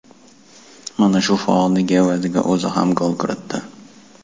Mana shu faolligi evaziga o‘zi ham gol kiritdi.